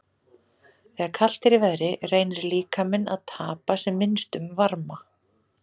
Þegar kalt er í veðri reynir líkaminn að tapa sem minnstum varma.